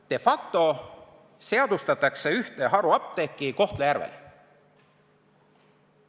De facto seadustatakse ühte haruapteeki Kohtla-Järvel.